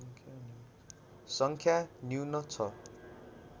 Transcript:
सङ्ख्या न्यून छ